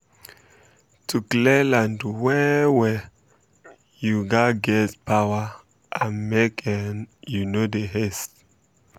to clear land well um well um you gatz get power and make um you no dey haste